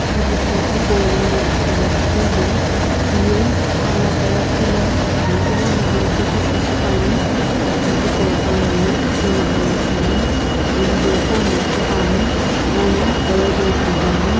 ajutho hipaulono ithuluakeu ye hiye anato lakhi la aki ighono alokepushi shipuani aki hipau color ye pink color shi ani window qo mllasüpuani ena corridor kije ani.